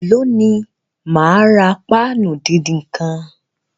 Èló ni máa ra páànù díndín nǹkan?